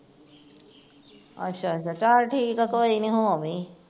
ਅੱਛਾ ਅੱਛਾ ਚਲ ਠੀਕ ਐ ਕੋਈ ਨੀ ਹੋ ਆਵੀ